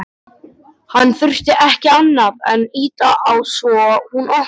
Hann þurfti ekki annað en ýta á svo hún opnaðist.